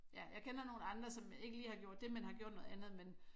Ja jeg kender nogle andre som ikke lige har gjort det men har gjort noget andet men